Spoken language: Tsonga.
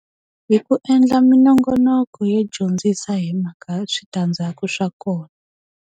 Hi ku endla minongonoko yo dyondzisa hi mhaka switandzhaku swa kona.